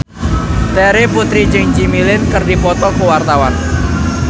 Terry Putri jeung Jimmy Lin keur dipoto ku wartawan